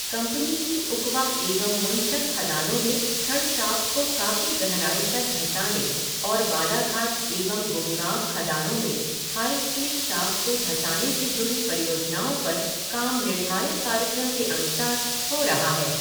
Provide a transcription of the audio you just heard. Company की उकवा एवं मुनसर खदानों में छड़ शाफ्ट को काफी गहराई तक धंसाने और बालाघाट एवं गुमगांव खदानों में हाई स्पीड शाफ़्ट को धंसाने से जुड़ी परियोजनाओं पर काम निर्धारित कार्यक्रम के अनुसार हो रहा है।